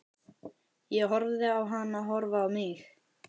Ég horfði á hana horfa á mig.